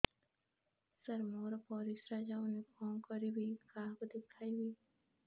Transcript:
ସାର ମୋର ପରିସ୍ରା ଯାଉନି କଣ କରିବି କାହାକୁ ଦେଖେଇବି